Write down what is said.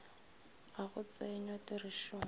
ga go tsenywa tirišong ga